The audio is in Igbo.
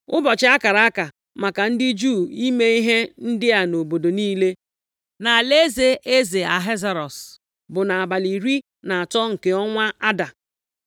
Ụbọchị a akara aka maka ndị Juu ime ihe ndị a nʼobodo niile nʼalaeze eze Ahasuerọs bụ nʼabalị iri na atọ nke ọnwa Ada. + 8:12 Ọnwa nke iri na abụọ